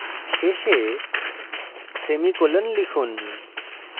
শেষে semicolon লিখুন